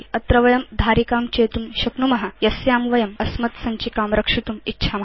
अत्र वयं धारिकां चेतुं शक्नुम यस्यां वयम् अस्मत्सञ्चिकां रक्षितुम् इच्छाम